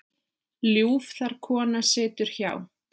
Ljúf þar kona situr hjá.